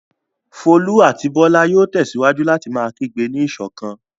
Folú àti Bọ́lá yóò tẹ̀síwájú láti máa gbé ní ìṣọ̀kan.